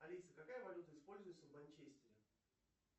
алиса какая валюта используется в манчестере